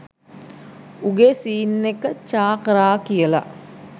උගේ සීන් එක චා කරා කියලා